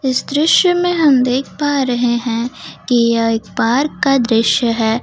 इस दृश्य में हम देख पा रहे हैं कि एक बार का दृश्य है।